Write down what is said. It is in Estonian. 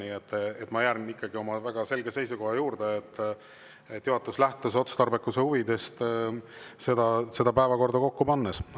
Nii et ma jään ikkagi oma väga selge seisukoha juurde: juhatus lähtus päevakorda kokku pannes otstarbekuse.